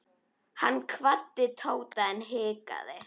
Hann kvaddi Tóta en hikaði.